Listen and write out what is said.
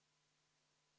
V a h e a e g